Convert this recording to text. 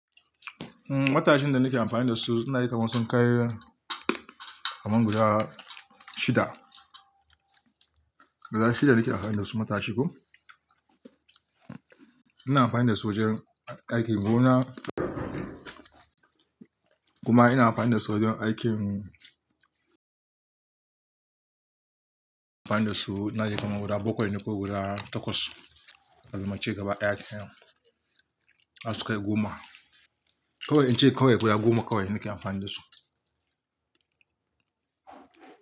Matashin da nake amfani da su na yi kaman sun kai kaman guda shida, guda shida nake amfani da su matashi ko. Ina amfani da su wajen aikin gona kuma ina amfani da su wajen aikin, amfani da su na yi kaman guda bakwai ko guda takwas, tabi mu ce gaba ɗaya kam har su kai goma. Kowai in ce kawai guda goma kawai nake amfani da su.